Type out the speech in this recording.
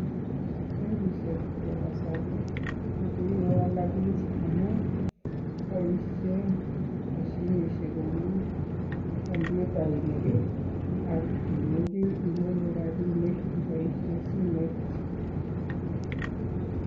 Bankisiek chepo kasari kokikowolokis amun boisien moshinisiek kou kompyutainik ak imuchi icheru rabisiek iboisien simoit.